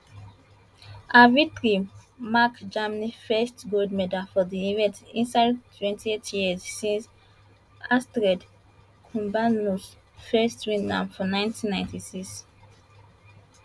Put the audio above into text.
her victory mark germany first gold medal for di event inside 28 years since astrid kumbernuss first win am for 1996